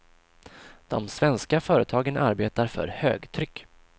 De svenska företagen arbetar för högtryck.